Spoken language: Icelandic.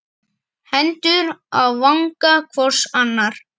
Hendur á vanga hvor annars.